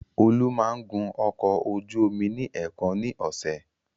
Olú máa ń gun ọkọ ojú omi ní èèkan ni ọ̀sẹ̀.